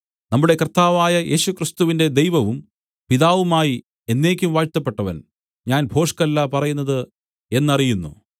നമ്മുടെ കർത്താവായ യേശുക്രിസ്തുവിന്റെ ദൈവവും പിതാവുമായി എന്നേക്കും വാഴ്ത്തപ്പെട്ടവൻ ഞാൻ ഭോഷ്കല്ല പറയുന്നത് എന്നറിയുന്നു